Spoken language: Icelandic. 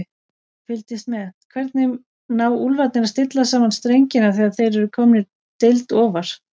Fylgist með: Hvernig ná Úlfarnir að stilla saman strengina þegar þeir eru komnir deild ofar?